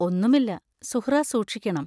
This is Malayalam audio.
ഒന്നുമില്ല; സുഹ്റാ സൂക്ഷിക്കണം.